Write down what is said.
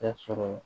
E sɔrɔ